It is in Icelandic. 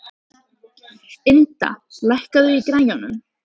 Ynda, lækkaðu í græjunum.